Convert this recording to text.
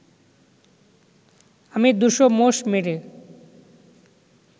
আমি দুশো মোষ মেরে